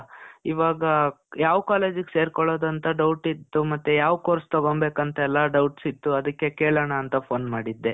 ಇವಾಗಾ, ಯಾವ್ ಕಾಲೇಜ್ ಗೆ ಸೇರ್ಕೊಳ್ಳೋದು ಅಂತ doubt ಇತ್ತು ಮತ್ತೆ ಯಾವ್ course ತಗೊಂಬೇಕಂತ ಎಲ್ಲ doubts ಇತ್ತು. ಅದಕ್ಕೆ ಕೇಳೋಣ ಅಂತ phone ,ಮಾಡಿದ್ದೆ.